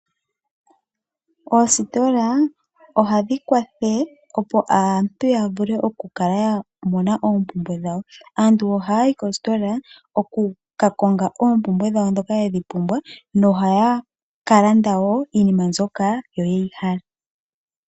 Oostola ohadhi kwatha opo aantu ya vule okukala ya mona oompumbwe dhawo. Aantu ohaya yi koostola oku ka konga ompumbwe dhawo dhoka yedhi pumbwa na ohaya ka landa wo iinima mbyoka yeyi hala.